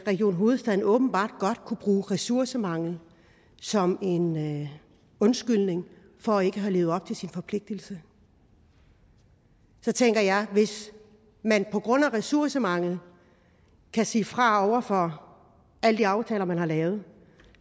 region hovedstaden åbenbart godt kunne bruge ressourcemangel som en undskyldning for ikke at have levet op til sin forpligtelse så tænker jeg at hvis man på grund af ressourcemangel kan sige fra over for alle de aftaler man har lavet